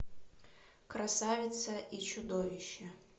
красавица и чудовище